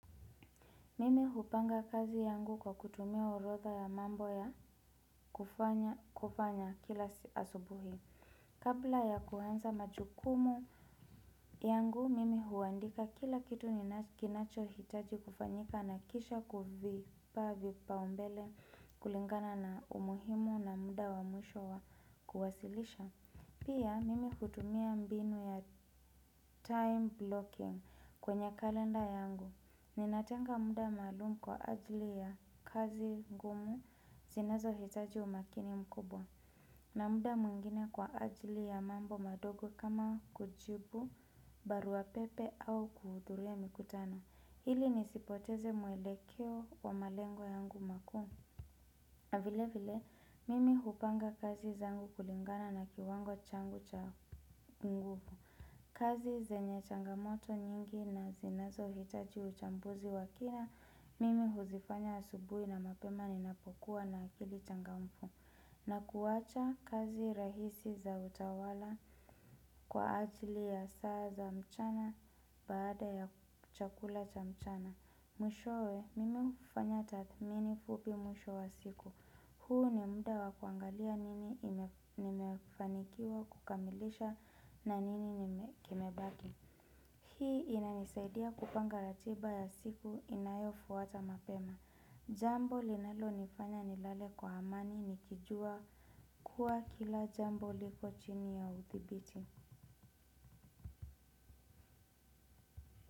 Mimi hupanga kazi yangu kwa kutumia orotha ya mambo ya kufanya kila asubuhi. Kabla ya kuanza majukumu yangu, mimi huandika kila kitu kinacho hitaji kufanyika na kisha kuvi pa vipa umbele kulingana na umuhimu na muda wa mwisho wa kuwasilisha. Pia, mimi hutumia mbinu ya time blocking kwenye kalenda yangu. Ninatenga muda maalumu kwa ajili ya kazi ngumu zinazo hitaji umakini mkubwa. Na muda mwingine kwa ajili ya mambo madogo kama kujibu barua pepe au kuhudhuria mikutano ili nisipoteze mwele keo wa malengo yangu makuu. Vile vile, mimi hupanga kazi zangu kulingana na kiwango changu cha nguvu. Kazi zenye changamoto nyingi na zinazo hitaji uchambuzi wa kina, mimi huzifanya asubuhi na mapema ninapokuwa na akili changamfu. Na kuwacha kazi rahisi za utawala kwa ajili ya saa za mchana baada ya chakula cha mchana. Mwishowe mimi hufanya tathmini fupi mwisho wa siku huu ni muda wa kuangalia nini nimefanikiwa kukamilisha na nini kimebaki. Hii inanisaidia kupanga ratiba ya siku inayo fuata mapema. Jambo linalo nifanya nilale kwa amani nikijua kuwa kila jambo liko chini ya uthibiti.